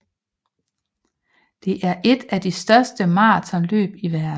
Det er et af de største maratonløb i verden